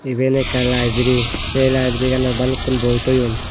iben ekkan libari sei libariganot balukkun boi toyon.